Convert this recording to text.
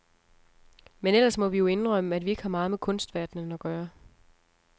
Men ellers må vi jo indrømme, at vi ikke har meget med kunstverdenen at gøre.